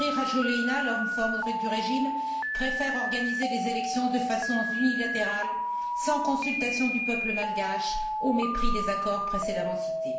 Andry Rajoelina, l'homme fort du régime, préfère organiser des élections de façon unilatérale sans consultation du peuple malgache, au mépris des accords précédemment cités.